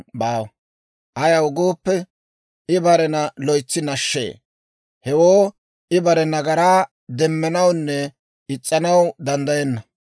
Ayaw gooppe, I barena loytsi nashshee; hewoo I bare nagaraa demmanawunne is's'anaw danddayenna.